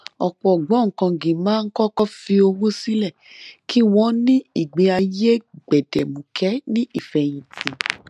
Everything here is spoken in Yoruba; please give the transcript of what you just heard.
ọpọ ògbóǹkangí máa ń kọkọ fi owó sílẹ kí wọn ní um ìgbé ayé gbẹdẹmukẹ ní ìfẹyìntì